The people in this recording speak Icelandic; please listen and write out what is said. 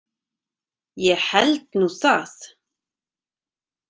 Ég held nú það!